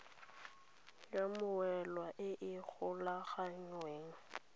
ya mmoelwa e e golaganngwang